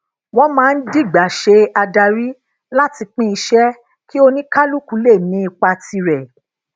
wón máa ń digba se adari lati pín iṣé kí onikaluku le ni ipa tire